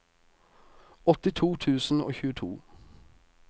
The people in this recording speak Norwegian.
åttito tusen og tjueto